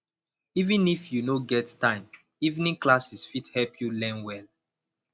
even if you no get time evening classes fit help you learn well